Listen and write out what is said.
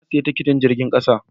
Na sayi tikitin jirgin kasa.